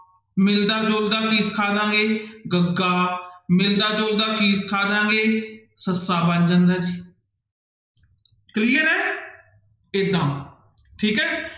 ਮਿਲਦਾ ਜੁਲਦਾ ਕੀ ਸਿਖਾ ਦੇਵਾਂਗੇ ਗੱਗਾ, ਮਿਲਦਾ ਜੁਲਦਾ ਕੀ ਸਿਖਾ ਦੇਵਾਂਗੇ ਸੱਸਾ ਬਣ ਜਾਂਦਾ clear ਹੈ ਏਦਾਂ ਠੀਕ ਹੈ